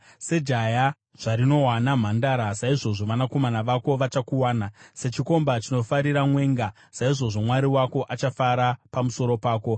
Sejaya zvarinowana mhandara, saizvozvo vanakomana vako vachakuwana; sechikomba chinofarira mwenga, saizvozvo Mwari wako achafara pamusoro pako.